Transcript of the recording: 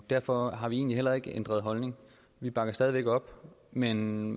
derfor har vi egentlig heller ikke ændret holdning vi bakker stadig væk op men